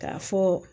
K'a fɔ